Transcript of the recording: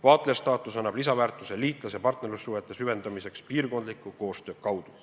Vaatlejastaatus annab lisaväärtuse liitlas- ja partnerlussuhete süvendamiseks piirkondliku koostöö kaudu.